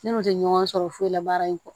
Ne kun tɛ ɲɔgɔn sɔrɔ foyi la baara in kɔ